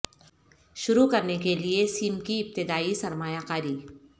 شروع کرنے کے لئے سیم کی ابتدائی سرمایہ کاری